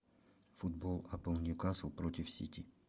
футбол апл ньюкасл против сити